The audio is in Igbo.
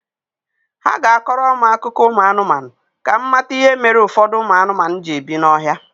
Ha ga-akọrọ m akụkọ ụmụ anụmanụ ka m mata ihe mere ụfọdụ ụmụ anụmanụ ji ebi n'ọhịa